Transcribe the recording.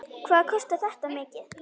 Hvað kostar þetta mikið?